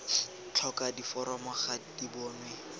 tlhoko diforomo ga di bonwe